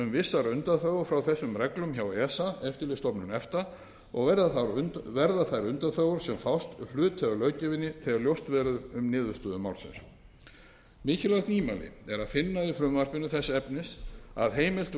vissar undanþágur frá þessum reglum hjá esa eftirlitsstofnun efta og verða þær undanþágur sem fást hluti af löggjöfinni þegar ljóst verður um niðurstöðu málsins mikilvæg nýmæli er að finna í frumvarpinu þess efnis að heimilt verði